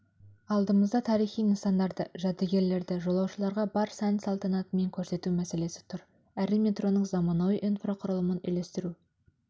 алдымызда тарихи нысандарды жәдігерлерді жолаушыларға бар сән-салтанатымен көрсету мәселесі тұр әрі метроның заманауи инфрақұрылымын үйлестіру